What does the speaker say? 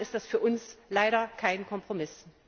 Insofern ist das für uns leider kein Kompromiss.